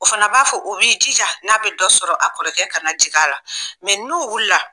O fana b'a fɔ o b'i jija n'a bɛ dɔ sɔrɔ a kɔrɔkɛ kana jigin a la n'o wulila